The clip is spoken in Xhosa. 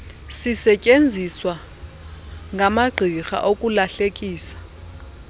zisetyeenziswa ngamagqirha ukulahlekisa